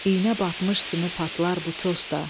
İynə batmış kimi patlar bu kosta.